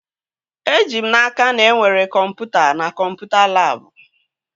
Eji m n'aka, na enwere kọmputa na kọmputa labụ